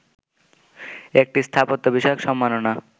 একটি স্থাপত্য বিষয়ক সম্মাননা